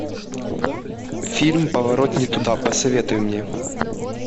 фильм поворот не туда посоветуй мне